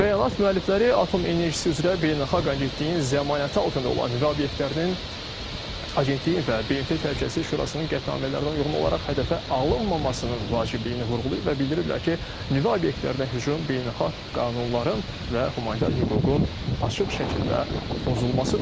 Bəyanat müəllifləri Atom Enerjisi üzrə Beynəlxalq Agentliyin zəmanəti altında olan nüvə obyektlərinin, Agentliyin və BMT Təhlükəsizlik Şurasının qətnamələrinə uyğun olaraq hədəfə alınmamasının vacibliyini vurğulayıb və bildiriblər ki, nüvə obyektlərinə hücum beynəlxalq qanunların və humanitar hüququn açıq şəkildə pozulmasıdır.